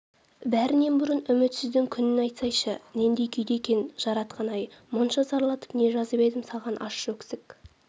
бәрінен бұрын үмітсіздің күнін айтсайшы нендей күйде екен жаратқан-ай мұнша зарлатып не жазып едім саған ащы өксік